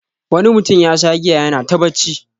Wani mutum yasha giya yana ta bacci.